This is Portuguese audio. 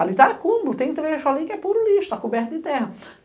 Ali tá acúmulo, tem trecho ali que é puro lixo, tá coberto de terra.